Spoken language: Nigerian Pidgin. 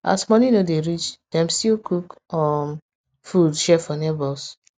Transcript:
as money no dey reach dem stil cook um food share for neighbors